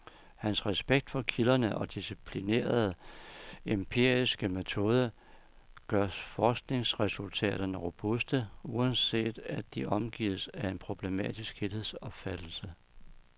Hans respekt for kilderne og disciplinerede, empiriske metode gør forskningsresultaterne robuste, uanset at de omgives af en problematisk helhedsopfattelse.